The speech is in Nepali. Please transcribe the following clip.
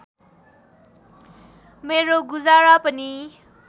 मेरो गुजारा पनि